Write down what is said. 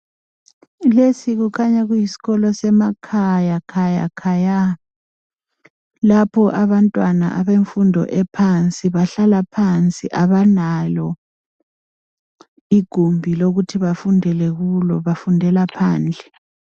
Lesi kukhanya kuyisikolo semakhaya khaya khay, lapho abantwana bemfundo ephansi bahlala phansi abalalo igumbi lokuthi bafundele kulo bafundela phandle.